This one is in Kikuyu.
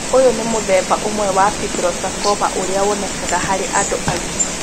Ũyũ nĩ mũthemba ũmwe wa fibrosarcoma ũrĩa wonekaga harĩ andũ agima.